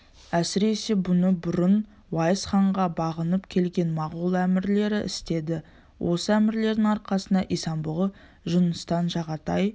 әсіресе бұны бұрын уайс ханға бағынып келген моғол әмірлері істеді осы әмірлердің арқасында исан-бұғы жұныстан жағатай